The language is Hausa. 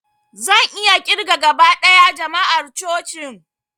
Zan iya ƙirga gaba ɗaya jama'ar cocin